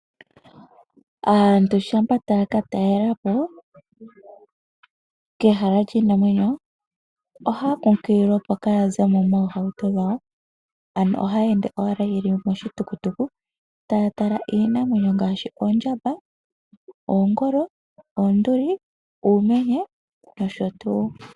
Aantu shampa taya ka talela po, kehala lyi na omwenyo, ohaya kunkililwa opo kaaya zemo moohauto dhawo, ano ohaya ende owala yeli moshitukutuku taya tala iinamwenyo ngaashi oondjamba, oonduli, uumenye nosho tuu.